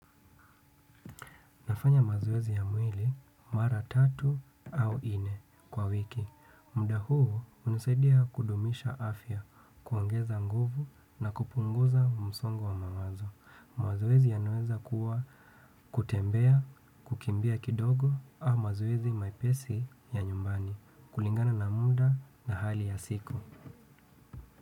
Nafanya mazoezi ya mwili mara tatu au nne kwa wiki. Muda huu hunisaidia kudumisha afya, kuongeza nguvu na kupunguza msongo wa mawazo. Mazoezi yanaweza kuwa kutembea, kukimbia kidogo au mazoezi mepesi ya nyumbani. Kulingana na muda na hali ya siku.